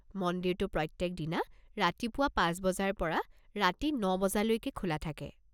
মন্দিৰটো প্ৰত্যেকদিনা ৰাতিপুৱা পাঁচ বজাৰ পৰা ৰাতি ন বজালৈকে খোলা থাকে।